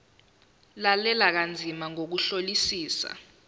lalela kanzima ngokuhlolisisa